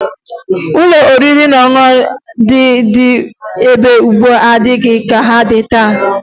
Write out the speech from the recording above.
Ụlọ oriri na ọṅụṅụ ndị dị mgbe gboo adịghị ka ndị dị taa